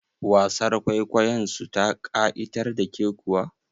Wasar kwaikwayon su ta ƙa'itar da ke kuwa?